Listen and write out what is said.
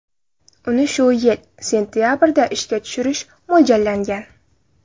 Uni shu yil sentabrda ishga tushirish mo‘ljallangan.